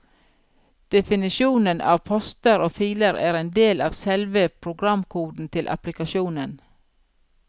Definisjonen av poster og filer er en del av selve programkoden til applikasjonen.